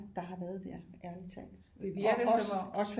Der har været der ærlig talt og også også